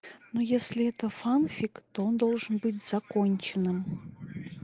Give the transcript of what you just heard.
ну если это фанфик то он должен быть законченным